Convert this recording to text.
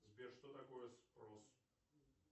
сбер что такое спрос